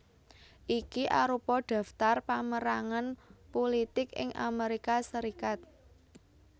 Iki arupa daftar pamérangan pulitik ing Amérika Sarékat